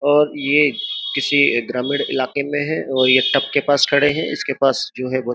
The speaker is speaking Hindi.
और ये किसी ग्रामीण इलाके में है और ये टप के पास खड़े हैं इसके पास जो है वो --